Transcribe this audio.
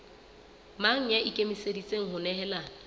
mang ya ikemiseditseng ho nehelana